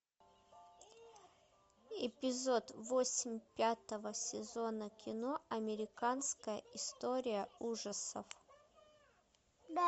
эпизод восемь пятого сезона кино американская история ужасов